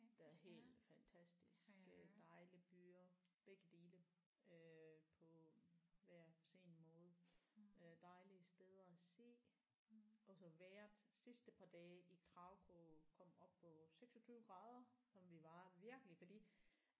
Der er helt fantastisk øh dejlige byer begge dele øh på hver sin måde øh dejlige steder at se også at være sidste par dage i Krakow kom op på 26 grader så vi var virkelig fordi